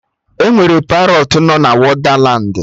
Enwere Parọtụ no na Wondalandi